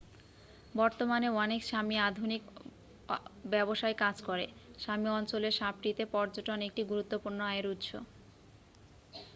বর্তমানে অনেক সামি আধুনিক ব্যবসায় কাজ করে। সামি অঞ্চলের সাপমিতে পর্যটন একটি গুরুত্বপূর্ণ আয়ের উৎস।